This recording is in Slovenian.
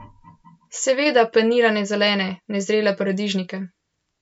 Seveda panirane zelene, nezrele paradižnike.